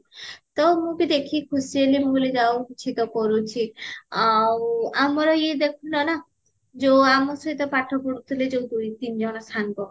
ତ ମୁଁ ବି ଦେଖିକି ଖିସୀ ହେଲି ମୁଁ କହିଲି ଯାହା ହାଉ କିଛି ତ କରୁଚି ଆଉ ଆମର ଇଏ ଦେଖୁନା ନା ଯୋଊ ଆମ ସହିତ ପାଠ ପଢୁଥିଲେ ଜୋଉ ଦୁଇ ତିନି ଜଣ ସାଙ୍ଗ